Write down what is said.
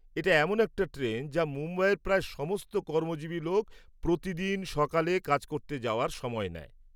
এটা এমন একটা ট্রেন যা মুম্বইয়ের প্রায় সমস্ত কর্মজীবী ​​লোক প্রতিদিন সকালে কাজ করতে যাওয়ার সময় নেয়।